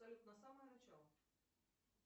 салют на самое начало